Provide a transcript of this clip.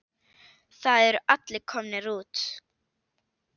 Það eru allir komnir út.